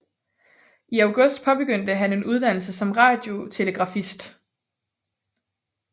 I august påbegyndte han en uddannelse som radiotelegrafist